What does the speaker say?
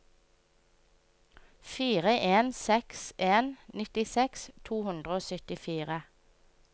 fire en seks en nittiseks to hundre og syttifire